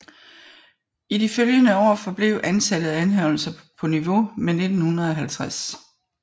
I de følgende år forblev antallet af anholdelser på niveau med 1950